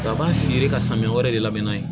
Kaban firi ka samiya wɛrɛ de labɛn n'a ye